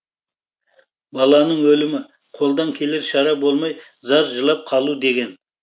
баланың өлімі қолдан келер шара болмай зар жылап қалу деген